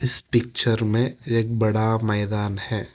इस पिक्चर में एक बड़ा मैदान है।